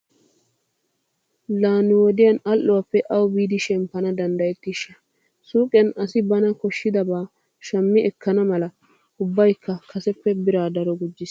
Laa nu wodiya al"uwaape awu biidi shemppana danddayettiisha? Suuqiyan asi bana koshshidabaa shammi ekkenna mala ubbabaykka kaseppe biraa daro gujjiis.